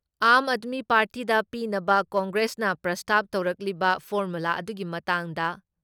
ꯑꯥꯝ ꯑꯥꯗꯃꯤ ꯄꯥꯔꯇꯤꯗ ꯄꯤꯅꯕ ꯀꯪꯒ꯭ꯔꯦꯁꯅ ꯄ꯭ꯔꯁꯇꯥꯞ ꯇꯧꯔꯛꯂꯤꯕ ꯐꯣꯔꯃꯨꯂꯥ ꯑꯗꯨꯒꯤ ꯃꯇꯥꯡꯗ